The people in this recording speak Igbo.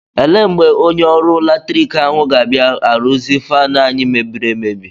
Ele mgbe onye ọrụ latrik ahụ ga-abịa arụzi faanụ anyị mebiri emebi?